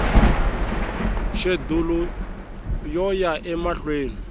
xedulu yo ya emahlweni yi